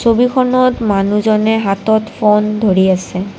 ছবিখনত মানুহজনে হাতত ফোন ধৰি আছে।